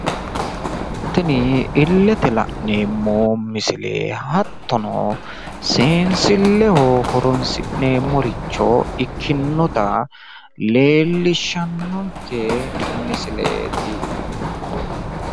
Tini illete la'neemmo misile hattono biinfilleho horonsi'neemmoricho ikkinota leellishshannonke misileeti.